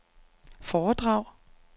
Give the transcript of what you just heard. foredrag